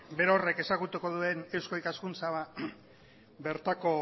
berorrek ezagutuko duen eusko ikaskuntza